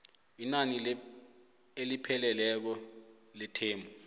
inani elipheleleko lethemu